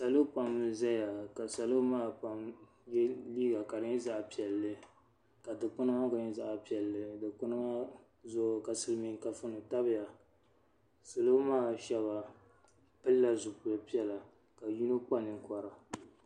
Salo pam n zaya ka salo maa pam ye liiga ka di nyɛ liiga piɛlli ka dikpina maa gba nyɛ zaɣa piɛlli dikpina maa zuɣu ka Silimiin kafuni tabya salo maa sheba pilila zipil'piɛla ka yino kpa ninkpara.